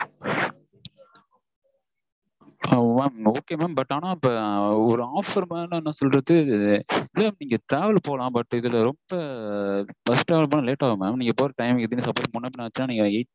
ah ok mam but ஒரு offer மாதிரி போரதுக்கு travel போகலான் இதுல ரொம்ப bus travel போனா late ஆகும் mam நீங்க போற time முன்ன பின்ன ஆச்சுனா